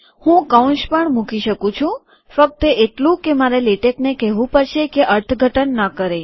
હું કૌંસ પણ મૂકી શકું છું ફક્ત એટલું કે મારે લેટેકને કેહવું પડશે કે અર્થઘટન ન કરે